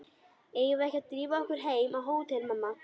Eigum við ekki að drífa okkur heim á hótel, mamma?